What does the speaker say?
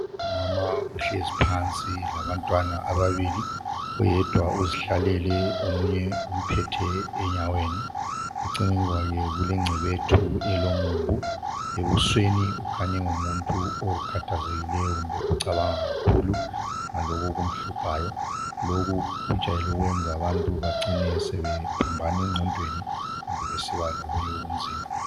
Umama uhlezi phansi labantwana ababili. Oyedwa uzihlalele , Omunye umphethe enyaweni. Eceleni kwakhe kulengcebethu elomumbu. Ebusweni ukhanya engumuntu okhathazekileyo kumbe ocabanga kakhulu, ngalokhu okumhluphayo. Lokhu kujayele ukwenza abantu bacine sebephambana engqondweni, kumbe bacine besiba lokunye okunzima.